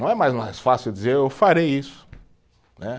Não é mais fácil dizer, eu farei isso, né